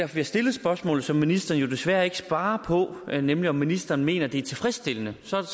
vi har stillet spørgsmålet som ministeren jo desværre ikke svarer på nemlig om ministeren mener at det er tilfredsstillende så er